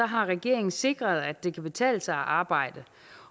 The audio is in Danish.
har regeringen sikret at det kan betale sig at arbejde